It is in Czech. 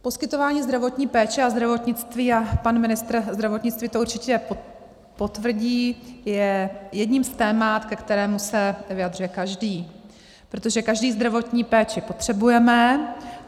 Poskytování zdravotní péče a zdravotnictví, a pan ministr zdravotnictví to určitě potvrdí, je jedním z témat, ke kterému se vyjadřuje každý, protože každý zdravotní péči potřebujeme.